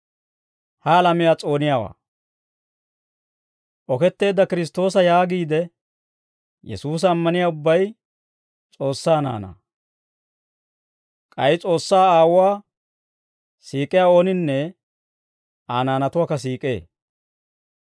Oketteedda Kiristtoosa yaagiide, Yesuusa ammaniyaa ubbay S'oossaa naanaa; k'ay S'oossaa Aawuwaa siik'iyaa ooninne Aa naanatuwaakka siik'ee.